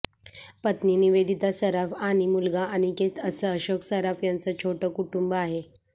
पत्नी निवेदिता सराफ आणि मुलगा अनिकेत असं अशोक सराफ यांच छोटं कुटुंब आहे